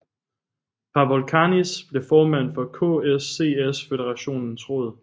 Pavol Kanis blev formand for KSČS føderationens råd